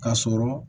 Ka sɔrɔ